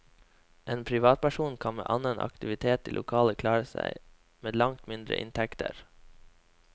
En privatperson kan med annen aktivitet i lokalene klare seg med langt mindre inntekter.